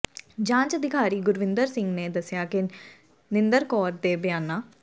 ਜਾਂਚ ਅਧਿਕਾਰੀ ਗੁਰਵਿੰਦਰ ਸਿੰਘ ਨੇ ਦੱਸਿਆ ਕਿ ਨਿੰਦਰ ਕੌਰ ਦੇ ਬਿਆਨਾਂ